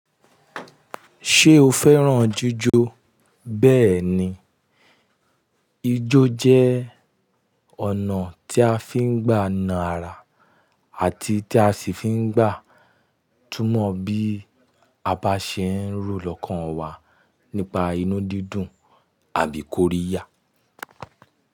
Ṣé o fẹ́ràn jíjó? Bẹ́ẹ̀ni, ijó jẹ́ ọ̀nà tí a fi ń gbà na ara àti tí a sì fi ń gbà túmọ̀ bí a bá ṣe ń ro lọ́kàn wa nípa inú dídùn àbí kóríyá.